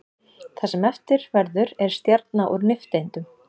Það sem eftir verður er stjarna úr nifteindum.